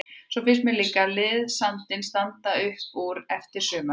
Svo finnst mér líka liðsandinn standa upp úr eftir sumarið.